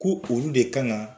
Ko olu de kan kan